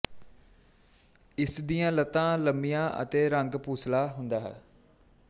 ਇਸਦੀਆਂ ਲੱਤਾਂ ਲੰਮੀਆਂ ਅਤੇ ਰੰਗ ਭੂਸਲਾ ਹੁੰਦਾ ਹੈ